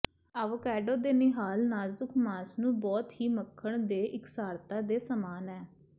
avocado ਦੇ ਨਿਹਾਲ ਨਾਜ਼ੁਕ ਮਾਸ ਨੂੰ ਬਹੁਤ ਹੀ ਮੱਖਣ ਦੇ ਇਕਸਾਰਤਾ ਦੇ ਸਮਾਨ ਹੈ